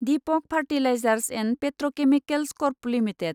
Deepak fertilisers and petrochemicals corp limited